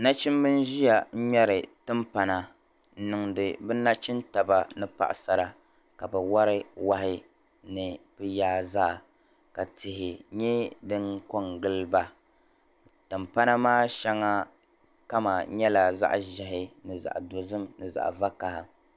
Nachimbi nʒɛya ni ŋmeri tim pana n niŋdi bɛ nachim taba, ni paɣa sara ka bi wari wahi ni bɛ yaa zaa, ka tihi nyɛ din ko n giliba, tim pana maa shaŋa kama nyɛla zaɣi ʒɛhi ni zaɣi do zim ni zaɣi vakaha